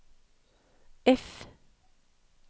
F